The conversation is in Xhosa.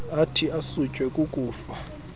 athi asutywe kukufa